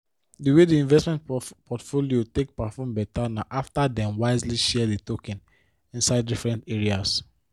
di way the investment portfolio take perform better na after dem wisely share the tokens inside different areas